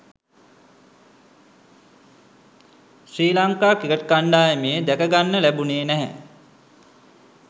ශ්‍රී Lanka cricket කණ්ඩායමේ දැකගන්න ලැබුණේ නැහැ.